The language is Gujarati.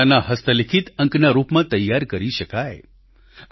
તેને શાળાના હસ્તલિખિત અંકના રૂપમાં તૈયાર કરી શકાય